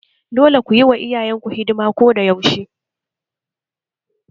Dole ku yi wa iyayenku hidima ko da yaushe!